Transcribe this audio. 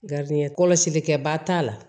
Garibusi kɛba t'a la